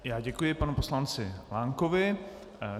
Já děkuji panu poslanci Lankovi.